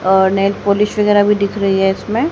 और nail polish वैगरह भी दिख रही है इसमें --